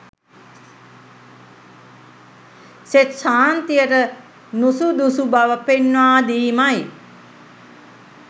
සෙත් ශාන්තියට නුසුදුසු බව පෙන්නා දීමයි.